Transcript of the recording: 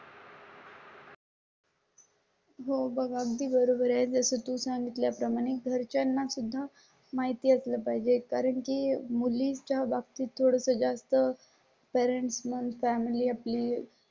हो बघा बरोबर आहे तसं तो सांगितल्या प्रमाणे घरच्यां ना सुद्धा माहिती असलं पाहिजे. कारण की मुली च्या बाबतीत थोडं जास्त करंट मग फॅमिली आपली